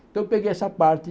Então eu peguei essa parte